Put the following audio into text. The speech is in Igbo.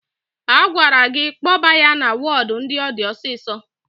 A gwara gi kpoba ya na wodu ndi odi osiso